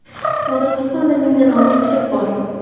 Hozir kutubxonada mingdan ortiq kitob bor.